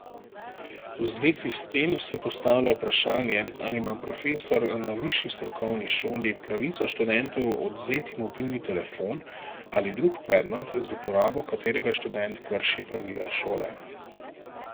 V zvezi s tem se postavlja vprašanje, ali ima profesor na višji strokovni šoli pravico študentu odvzeti mobilni telefon ali drug predmet, z uporabo katerega študent krši pravila šole?